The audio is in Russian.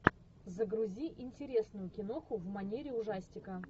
загрузи интересную киноху в манере ужастика